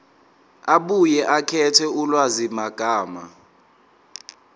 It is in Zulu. abuye akhethe ulwazimagama